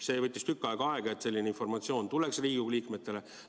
See võttis tükk aega, et selline informatsioon tuleks Riigikogu liikmetele.